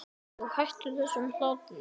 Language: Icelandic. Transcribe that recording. Og hættu þessum hlátri.